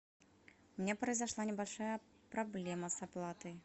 у меня произошла небольшая проблема с оплатой